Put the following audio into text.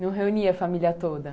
Não reunia a família toda?